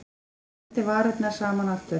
Hann klemmdi varirnar saman aftur.